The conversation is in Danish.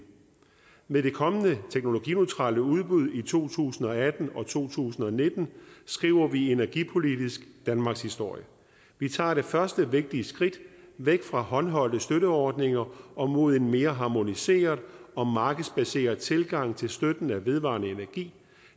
med det kommende teknologineutrale udbud i to tusind og atten og to tusind og nitten skriver vi energipolitisk danmarkshistorie vi tager det første vigtige skridt væk fra håndholdte støtteordninger og mod en mere harmoniseret og markedsbaseret tilgang til støttende og vedvarende energi